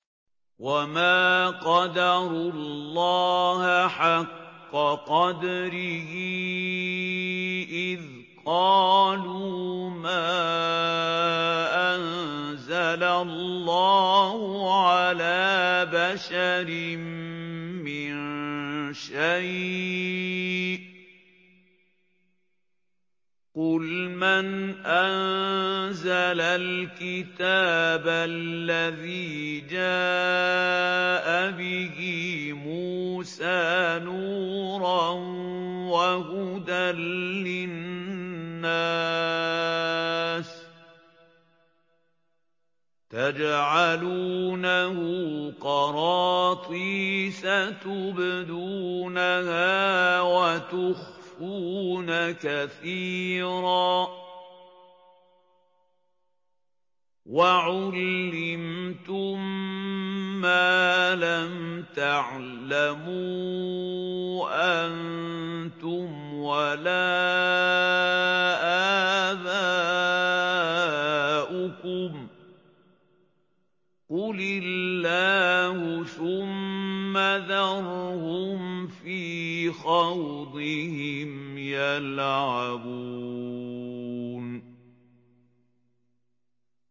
وَمَا قَدَرُوا اللَّهَ حَقَّ قَدْرِهِ إِذْ قَالُوا مَا أَنزَلَ اللَّهُ عَلَىٰ بَشَرٍ مِّن شَيْءٍ ۗ قُلْ مَنْ أَنزَلَ الْكِتَابَ الَّذِي جَاءَ بِهِ مُوسَىٰ نُورًا وَهُدًى لِّلنَّاسِ ۖ تَجْعَلُونَهُ قَرَاطِيسَ تُبْدُونَهَا وَتُخْفُونَ كَثِيرًا ۖ وَعُلِّمْتُم مَّا لَمْ تَعْلَمُوا أَنتُمْ وَلَا آبَاؤُكُمْ ۖ قُلِ اللَّهُ ۖ ثُمَّ ذَرْهُمْ فِي خَوْضِهِمْ يَلْعَبُونَ